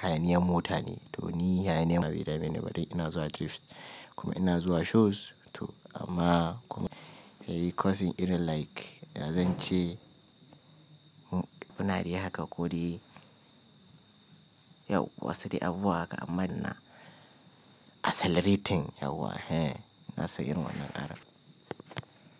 hayaniyan mota ne to ni bai dame ni ba ina zuwa drify kuma ina zuwa shows to amma kuma yayi causing irin like ya zan ce kuna de haka ko de yawwa saide abubuwa haka amman ina accelerating yawa. Ina san irin wannan karan.